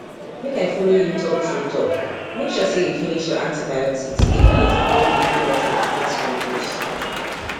make i follow you talk true talkmake sure say you finish your antibiotics even if you don dey feel better after small dose